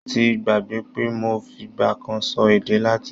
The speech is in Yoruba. Mo ti gbàgbé pé mo fìgbà kan sọ èdè Latin.